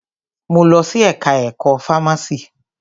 Mo lọ sí ẹka ẹ̀kọ́ fámási.